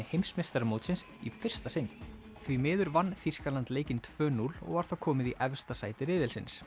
heimsmeistaramótsins í fyrsta sinn því miður vann Þýskaland leikinn tvö til núll og er þá komið í efsta sæti